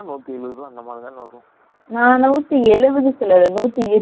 நான் நூத்தி எலுபது சொல்லல நூத்தி எலுபது சொன்னேன்